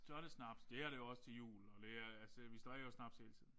Så er det snaps. Det er det jo også til jul og det er altså vi drikker jo også snaps hele tiden